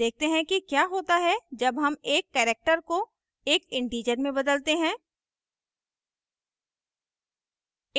देखते हैं कि क्या होता है जब हम एक character को एक integer में बदलते हैं